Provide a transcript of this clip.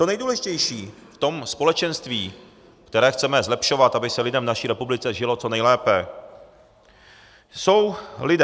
To nejdůležitější v tom společenství, které chceme zlepšovat, aby se lidem v naší republice žilo co nejlépe, jsou lidé.